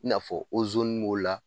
I n'a fɔ b'o la